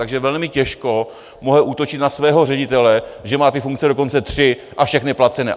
Takže velmi těžko můžou útočit na svého ředitele, že má ty funkce dokonce tři a všechny placené.